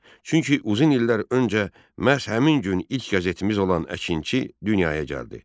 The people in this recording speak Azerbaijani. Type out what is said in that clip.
Çünki uzun illər öncə məhz həmin gün ilk qəzetimiz olan Əkinçi dünyaya gəldi.